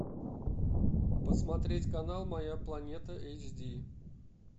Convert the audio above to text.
посмотреть канал моя планета эйч ди